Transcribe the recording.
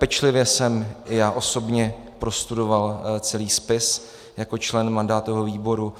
Pečlivě jsem i já osobně prostudoval celý spis jako člen mandátového výboru